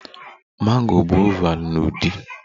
Mango bụ oval na udi